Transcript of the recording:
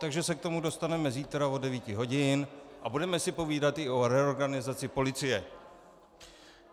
Takže se k tomu dostaneme zítra od 9 hodin a budeme si povídat i o reorganizaci policie.